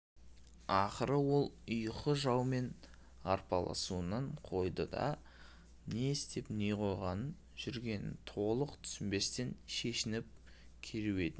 ақыры ол ұйқы жаумен арпалысуын қойды да не істеп не қойып жүргенін толық түсінбестен шешініп керуетіне